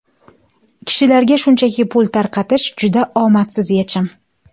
Kishilarga shunchaki pul tarqatish juda omadsiz yechim”.